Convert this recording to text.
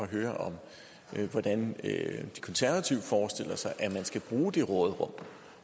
høre hvordan de konservative forestiller sig man skal bruge det råderum